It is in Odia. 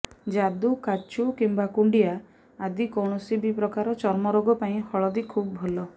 ଯାଦୁ କାଛୁ କିମ୍ବା କୁଣ୍ଡିଆ ଆଦି କୌଣସି ବି ପ୍ରକାର ଚର୍ମ ରୋଗ ପାଇଁ ହଳଦୀ ଖୁବ୍ ଭଲ